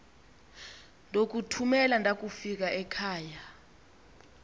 ndokuthumela ndakufika ekhava